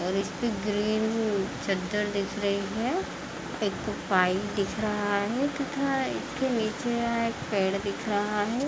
इस्पे ग्रीन चद्दर दिख रही है एक पाई दिख रहा है तथा इसके नीचे यहाँ एक पेड़ दिख रहा है।